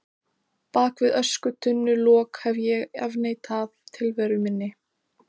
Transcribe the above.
Bak við öskutunnulok hef ég afneitað tilveru minni.